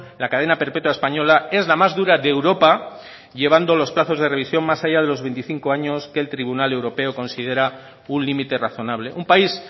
la cadena perpetua española es la más dura de europa llevando los plazos de revisión más allá de los veinticinco años que el tribunal europeo considera un límite razonable un país